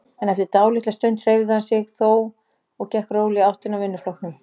En eftir dálitla stund hreyfði hann sig þó og gekk rólega í áttina að vinnuflokknum.